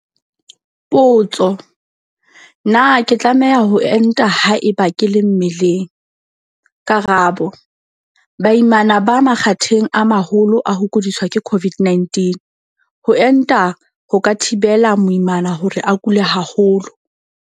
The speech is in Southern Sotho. Potso. Na ke tlameha ho enta haeba ke le mmeleng? Karabo. Baimana ba makgatheng a maholo a ho kudiswa ke COVID-19. Ho enta ho ka thibela moimana hore a kule haholo.